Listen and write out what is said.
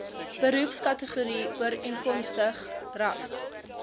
beroepskategorie ooreenkomstig ras